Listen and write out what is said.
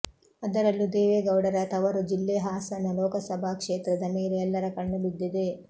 ಅದರಲ್ಲೂ ದೇವೇಗೌಡರ ತವರು ಜಿಲ್ಲೆ ಹಾಸನ ಲೋಕಸಭಾ ಕ್ಷೇತ್ರದ ಮೇಲೆ ಎಲ್ಲರ ಕಣ್ಣು ಬಿದ್ದಿದೆ